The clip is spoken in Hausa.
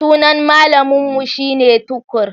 Sunan malamun mu shine Tukur.